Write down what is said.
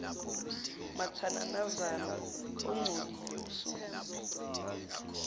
mathananazana ongcolile usukuphi